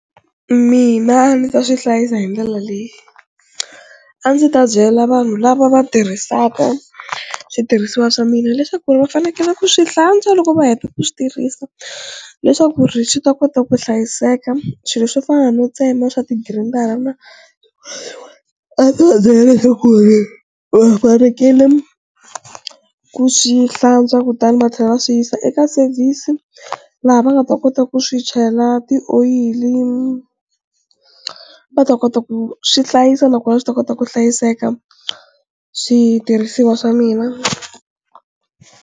Mina ni ta swi hlayisa hi ndlela leyi a ndzi ta byela vanhu lava va tirhisaka switirhisiwa swa mina leswaku ri va fanekele ku swi hlantswa loko va heta ku swi tirhisa leswaku ri swi ta kota ku hlayiseka, swilo swo fana no tsema swa tigirindara na a ndzi va byela leswaku ri va fanekele ku swi hlantswa kutani va tlhela va swi yisa eka service laha va nga ta kota ku swi chela tioyili va ta kota ku swi hlayisa nakona swi ta kota ku hlayiseka switirhisiwa swa mina.